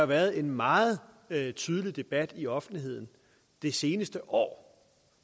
været en meget tydelig debat i offentligheden det seneste år